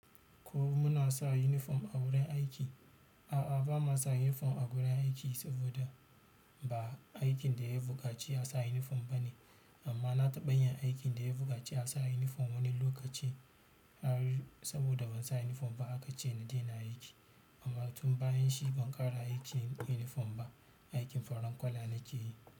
Ko muna sa uniform a wurin aiki? A'a bama sa uniform awajen aiki sbd ba aikin ɗaya buƙaci insa uniform bane amma na taɓa yin aikin da ya buƙaci a sa uniform wani lokaci. Saboda ban sa uniform ba aka ce na daina aiki, amma tun bayan shi ban ƙara aikin uniform ba. Aikin faran kwala na ke yi.